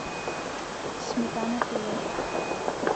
сметана тв